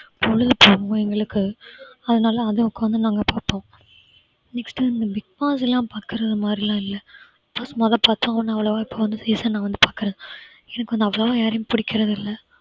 பொழுது போகாமல் எங்களுக்கு அதனால அதை உக்காந்து நாங்க பார்ப்போம் next இந்த bigg boss எல்லாம் பாக்குறது மாதிரிலாம் இல்ல மொதோ பார்த்தோம் ஆனா அவ்வளவா இப்ப இந்த season வந்து பாக்குறேன். எனக்கு வந்து அவ்வளவா யாரையும் பிடிக்கிறது இல்ல